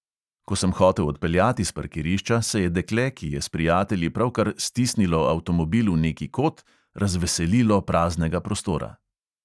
Ko sem hotel odpeljati s parkirišča, se je dekle, ki je s prijatelji pravkar "stisnilo" avtomobil v neki kot, razveselilo praznega prostora.